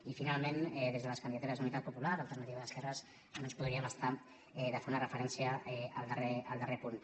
i finalment des de les candidatures d’unitat popular alternativa d’esquerres no ens podríem estar de fer una referència al darrer punt